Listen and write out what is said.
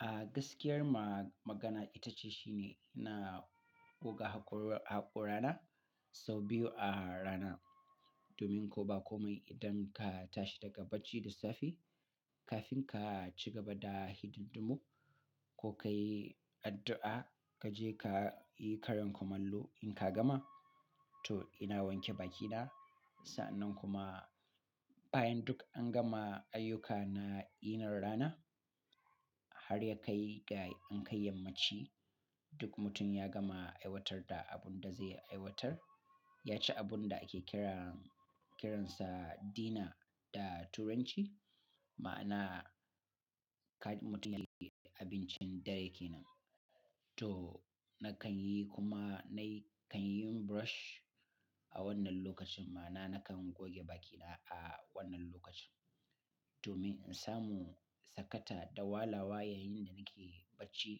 A gaskiyar ma magana itace shine ina goga haƙor haƙorana sau biyu a rana domin ko ba komai idan ka tashi daga bacci lissafi kafin ka ci gaba da hidindumu ko ka yi addu'a, ka je ka yi karin kumallo in ka gama, to ina wanke bakina. Sa'annan kuma bayan duk an gama ayyuka na yinin rana har ya kai ga in kai yammaci, duk mutum ya gama aiwatar da abun da zai aiwatar, ya ci abun da ake kira kiransa dina da turanci, ma'ana kaji mutum yayi abincin dare kenan. To nakan yi kuma nayi kan yin brush a wannan lokacin ma'ana nakan goge bakina a wannan lokacin domin in samu sakata da walawa yayin da nake bacci